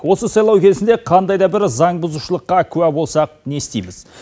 осы сайлау кезінде қандай да бір заңбұзушылыққа куә болсақ не істейміз